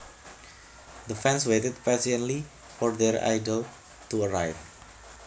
The fans waited patiently for their idol to arrive